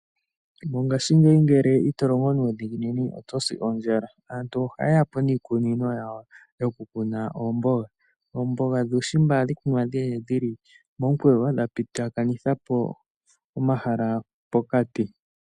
Mongaashingeyi ngele itolongo nuudhiginini oto si ondjala. Aantu ohayeya po niikunino yawo yokukuna oomboga. Oomboga dhuushimba ohadhi kunwa dhili momukweyo, dha pitithapo omahala pokati.